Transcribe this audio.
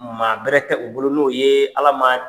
Maa bɛrɛ tɛ u bolo n'o ye Ala ma